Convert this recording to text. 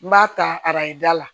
N b'a ta arajo da la